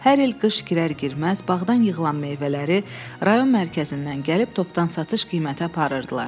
Hər il qış girər-girməz bağdan yığılan meyvələri rayon mərkəzindən gəlib topdan satış qiymətə aparırdılar.